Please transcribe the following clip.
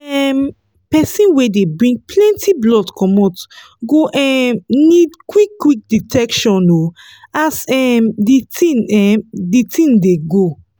um persin wey dey bring plenty blood comot go um need quick quick detection o as um the tin um the tin dey go